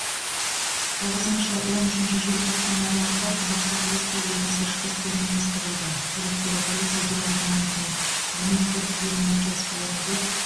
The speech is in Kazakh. тоғызыншы он үшінші желтоқсан аралығында қазақстан республикасы ішкі істер министрлігі көліктегі полиция департаментінің қызмет көрсететін учаскелерінде